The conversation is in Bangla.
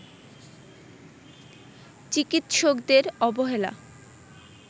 চিকিৎসকদের অবহেলা